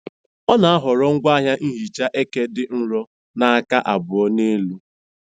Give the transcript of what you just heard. Ọ na-ahọrọ ngwaahịa nhicha eke dị nro na aka abụọ na elu.